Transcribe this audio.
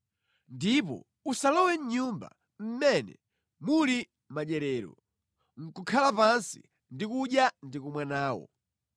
“Ndipo usalowe mʼnyumba mmene muli madyerero, nʼkukhala pansi ndi kudya ndi kumwa nawo.